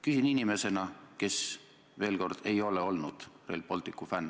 Küsin seda inimesena, kes, kordan, ei ole olnud Rail Balticu fänn.